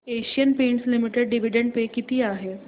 Asian paints limited dividend pay किती आहे